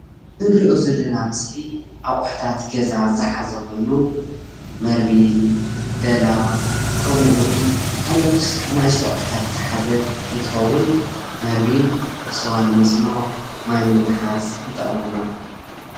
ካብ ፕላስቲክ ዝተሰረሐ ወይ ድማ ጓማ በርሚል ማይ መትሐዚ ወይ ስዋ መፅመቒ ይጠቅም።